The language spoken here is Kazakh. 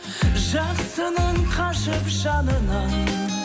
жақсының қашып жанынан